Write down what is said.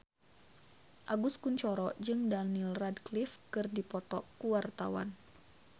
Agus Kuncoro jeung Daniel Radcliffe keur dipoto ku wartawan